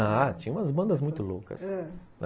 Ah, tinha umas bandas muito loucas, ãh